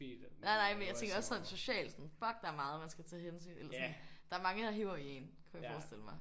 Nej nej men jeg tænker også sådan socialt. Sådan fuck der er meget man skal tage hensyn eller sådan der er mange der hiver i én kunne jeg forestille mig